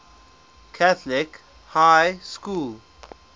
catholic high school